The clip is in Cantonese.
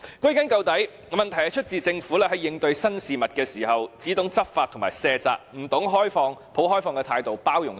歸根究底，問題是出自政府在應對新事物時，只懂執法和卸責，不懂抱開放的態度去包容。